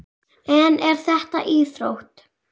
En er þetta íþrótt?